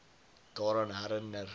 daaraan herin ner